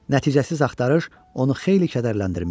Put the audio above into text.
Nəticəsiz axtarış onu xeyli kədərləndirmişdi.